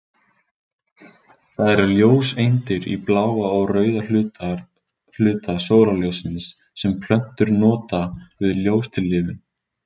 Það eru ljóseindir í bláa og rauða hluta sólarljóssins sem plöntur nota við ljóstillífun.